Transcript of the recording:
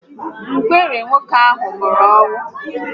Ngwere oketiọkpọ ahụ nwụrụ anwụ